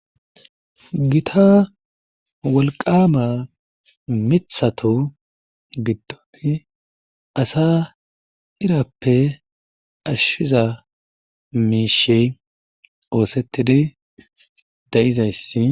Gita wolqqaaama mithatu giddoni asaa irappe ashiza mishey oosettidi de7izayssi.